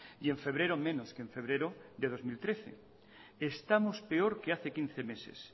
y en febrero menos que en febrero de dos mil trece estamos peor que hace quince meses